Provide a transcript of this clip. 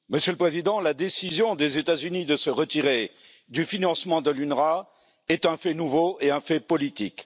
Monsieur le Président, la décision des États Unis de se retirer du financement de l'UNRWA est un fait nouveau et un fait politique.